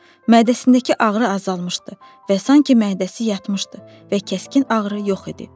Mədəsindəki ağrı azalmışdı və sanki mədəsi yatmışdı və kəskin ağrı yox idi.